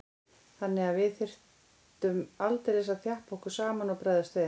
Þannig að við þurftum aldeilis að þjappa okkur saman og bregðast við.